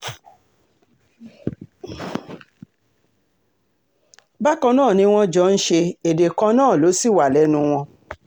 bákan náà ni wọ́n jọ ń ṣe èdè kan náà ló sì wà lẹ́nu wọn